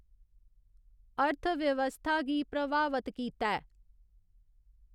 अर्थव्यवस्थआ गी प्रवावत कीता ऐ।